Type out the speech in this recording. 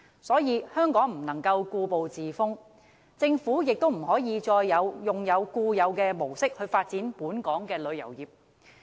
所以，香港不能夠故步自封，政府亦不能再按固有模式發展本港的旅遊業。